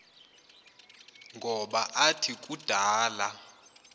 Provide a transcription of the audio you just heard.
ngoba athi kudala